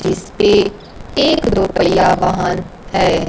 जिसपे एक दो पहिया वाहन है।